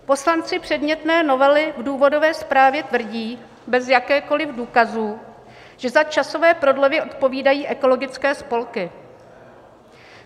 Poslanci předmětné novely v důvodové zprávě tvrdí bez jakýchkoliv důkazů, že za časové prodlevy odpovídají ekologické spolky.